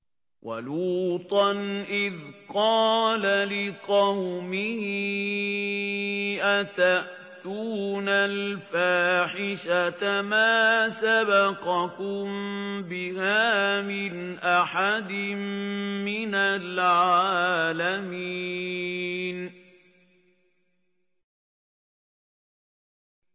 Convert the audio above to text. وَلُوطًا إِذْ قَالَ لِقَوْمِهِ أَتَأْتُونَ الْفَاحِشَةَ مَا سَبَقَكُم بِهَا مِنْ أَحَدٍ مِّنَ الْعَالَمِينَ